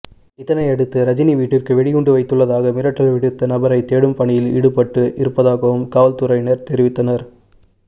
இதனை அடுத்து ரஜினி வீட்டிற்கு வெடிகுண்டு வைத்துள்ளதாக மிரட்டல் விடுத்த நபரை தேடும் பணியில் ஈடுபட்டு இருப்பதாகவும் காவல்துறையினர் தெரிவித்தனர்